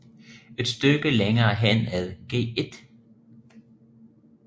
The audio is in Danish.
Et stykke længere hen ad Gl